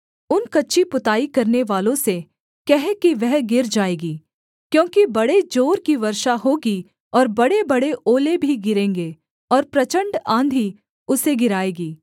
उन कच्ची पुताई करनेवालों से कह कि वह गिर जाएगी क्योंकि बड़े जोर की वर्षा होगी और बड़ेबड़े ओले भी गिरेंगे और प्रचण्ड आँधी उसे गिराएगी